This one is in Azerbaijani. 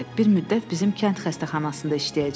Bir müddət bizim kənd xəstəxanasında işləyəcək.